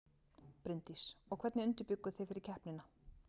Bryndís: Og hvernig undirbjugguð þið fyrir keppnina?